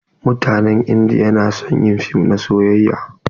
Mutanen indiya na son yin fim na soyayya.